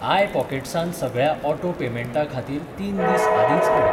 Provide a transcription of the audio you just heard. I पॉकेट्सांत सगळ्या auto पेमेंटां खातीर तीन दीस आदींच कऴय.